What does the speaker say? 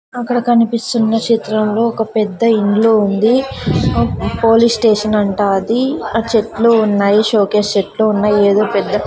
అక్కడ కనిపిస్తున్న చిత్రంలో ఒక పెద్ద ఇల్లు ఉంది పోలీస్ స్టేషన్ అంటా అది ఆ చెట్లు ఉన్నాయి షోకేస్ చెట్లు ఉన్నాయి ఏదో పెద్ద--